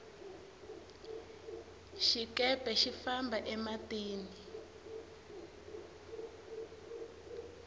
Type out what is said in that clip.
xikepe xi famba e matini